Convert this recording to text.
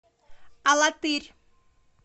алатырь